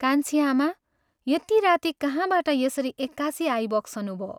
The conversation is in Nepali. "कान्छीआमा यति राती कहाँबाट यसरी एकासि आइबक्सनुभो?